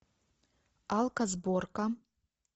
алко сборка